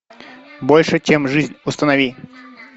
больше чем жизнь установи